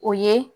O ye